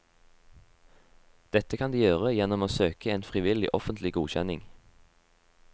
Dette kan de gjøre gjennom å søke en frivillig offentlig godkjenning.